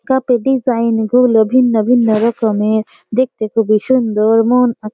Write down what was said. Cup -এর design গুলো ভিন্ন ভিন্ন রকমের। দেখতে খুবই সুন্দর মন আ --